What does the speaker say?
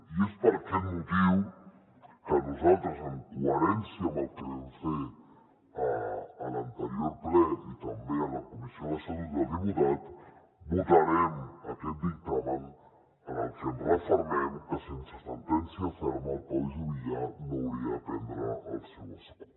i és per aquest motiu que nosaltres en coherència amb el que vam fer a l’anterior ple i també a la comissió de l’estatut dels diputats votarem aquest dictamen en el que ens refermem que sense sentència ferma el pau juvillà no hauria de perdre el seu escó